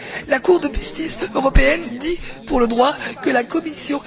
La Cour de justice européenne dit, pour le droit, que la Commission...